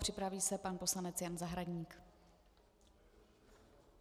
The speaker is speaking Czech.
Připraví se pan poslanec Jan Zahradník.